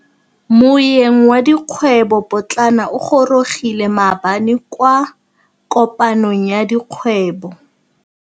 Moêng wa dikgwêbô pôtlana o gorogile maabane kwa kopanong ya dikgwêbô.